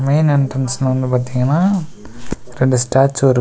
main என்ட்ரன்ஸ்ல வந்து பாத்தீங்கனா ரெண்டு ஸ்டேச்சு இருக்--